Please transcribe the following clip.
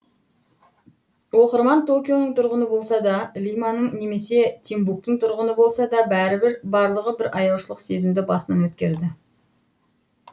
оқырман токионың тұрғыны болса да лиманың немесе тимбуктің тұрғыны болса да бәрібір барлығы бір аяушылық сезімді басынан өткереді